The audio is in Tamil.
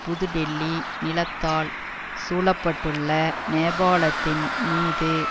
புது டெல்லி நிலத்தால் சூழப்பட்டுள்ள நேபாளத்தின் மீது